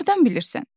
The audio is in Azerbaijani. Hardan bilirsən?